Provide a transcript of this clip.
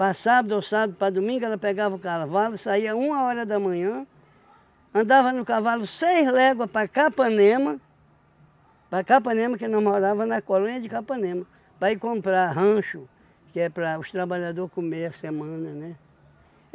Para sábado ou sábado, para domingo, ela pegava o cavalo, saía uma hora da manhã, andava no cavalo seis léguas para Capanema, para Capanema, que nós morava na colônia de Capanema, para ir comprar rancho, que é para os trabalhadores comerem a semana, né?